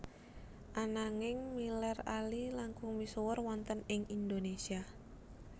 Ananging Miller Ali langkung misuwur wonten ing Indonésia